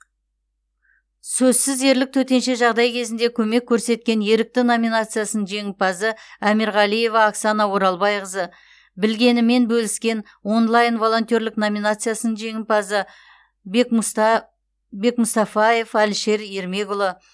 сөзсіз ерлік төтенше жағдай кезінде көмек көрсеткен ерікті номинациясының жеңімпазы амиргалиева оксана оралбайқызы білгенімен бөліскен онлайн волонтерлік номинациясының жеңімпазы бекмустафаев алишер ермекұлы